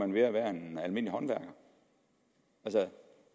mere værd end en almindelig håndværker